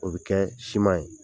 O bɛ kɛ siman ye.